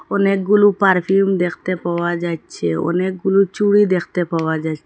অনেকগুলো পারফিউম দেখতে পাওয়া যাইচ্ছে অনেকগুলো চুরি দেখতে পাওয়া যাইচ্ছে ।